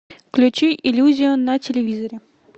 включи иллюзию на телевизоре